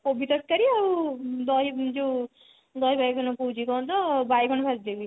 କୋବି ତରକାରୀ ଆଉ ଦହି ଯୋଉ ଦହି ବାଇଗଣ କହୁଛି କଣ ତ ବାଇଗଣ ଭାଜି ଦେବି